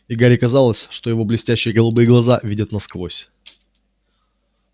и гарри казалось что его блестящие голубые глаза видят насквозь